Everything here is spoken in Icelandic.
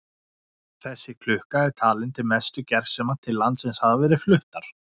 Þessi klukka er talin til mestu gersema sem til landsins hafa verið fluttar.